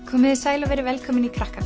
komiði sæl og verið velkomin í